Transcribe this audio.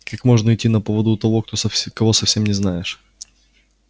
как можно идти на поводу у того кого совсем не знаешь